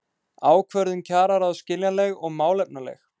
Ákvörðun kjararáðs skiljanleg og málefnaleg